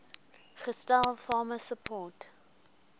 gestel farmer support